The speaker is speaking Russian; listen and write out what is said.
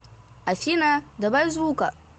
афина добавь звука